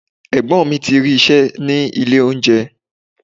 Ẹ̀gbọ́n mi ti rí iṣẹ́ ní ilé oúnjẹ.